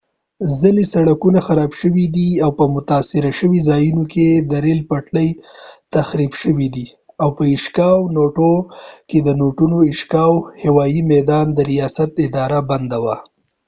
ځینې سړکونه خراب شوي دي او په متاثره شوي ځایونو کې د ریل پټلۍ تخریب شوي دي او په ایشیکاوا ishikawa کي د نوټو noto هوايي میدان د ریاست اداره بنده وه